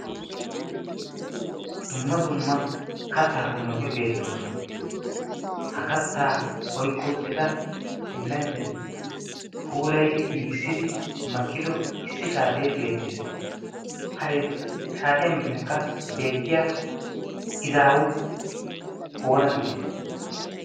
dumma dumma kattaa qommoti beettoosona ha kattaa oyqqi uttida pillanchchati puulaydi giigissidi makkido issi shaatee beettees ha saatiyaa miyyankka beettiya izaawu oona geetettii